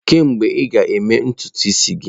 Kedu mgbe ị ga-eme ntutu isi gị?